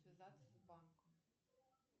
связаться с банком